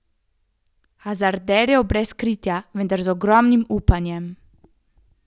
Hazarderjev brez kritja, vendar z ogromnim upanjem.